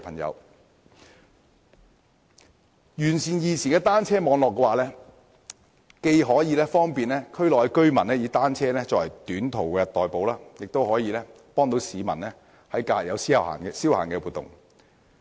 如能完善現時的單車網絡，既可方便區內居民以單車作短途代步之用，亦可供市民於假日作消閒活動。